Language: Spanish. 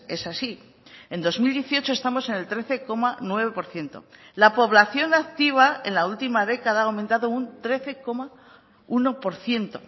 es así en dos mil dieciocho estamos en el trece coma nueve por ciento la población activa en la última década ha aumentado un trece coma uno por ciento